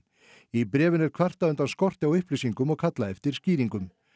í bréfinu er kvartað undan skorti á upplýsingum og kallað eftir skýringum ö